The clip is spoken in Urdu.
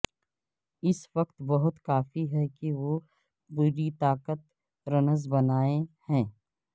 اس وقت بہت کافی ہے کہ وہ پوری طاقت رنز بنائے ہیں ہے